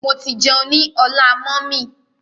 Mo ti jẹun ní ọlá mummy.